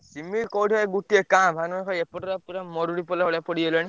ସିମିତି କୋଉଠି ଭାଇ ଗୋଟିଏ କାଁ ଭାଁ ନହେଲେ ଭାଇ ଏପଟରେ ପୁରା ମରୁଡି ପଇଲା ଭଳିଆ ପଡ଼ିଗଲାଣି।